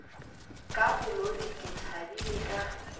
ka molodi ke thabile ka